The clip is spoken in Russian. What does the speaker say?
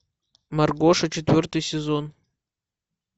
маргоша четвертый сезон